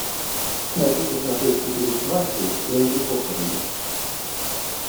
хочу посмотреть четыре свадьбы и одни похороны